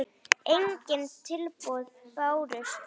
Engin tilboð bárust.